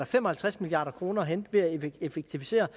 fem og halvtreds milliard kroner at hente ved at effektivisere